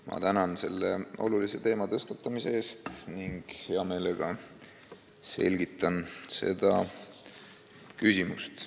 Ma tänan selle olulise teema tõstatamise eest ning hea meelega selgitan seda küsimust.